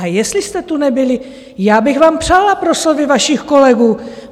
A jestli jste tu nebyli, já bych vám přála proslovy vašich kolegů.